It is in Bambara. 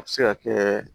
A bɛ se ka kɛ